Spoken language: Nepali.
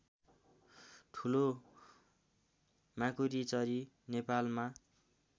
ठुलो माकुरीचरी नेपालमा